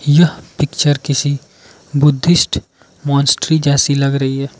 यह पिक्चर किसी Buddhist monastery जैसी लग रही है।